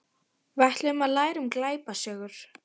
Við ætluðum að læra um glæpasögur.